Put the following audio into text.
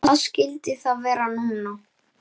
Hvað skyldi það vera núna?